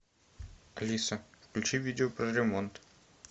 алиса включи видео про ремонт